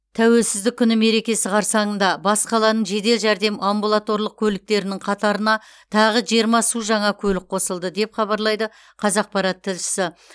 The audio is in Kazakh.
тәуелсіздік күні мерекесі қарсаңында бас қаланың жедел жәрдем амбулаторлық көліктерінің қатарына тағы жиырма су жаңа көлік қосылды деп хабарлайды қазақпарат тілшісі